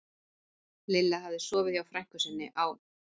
Lilla hafði sofið hjá frænku sinni á